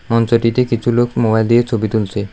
মঞ্চটিতে কিছু লোক মোবাইল দিয়ে ছবি তুলছে।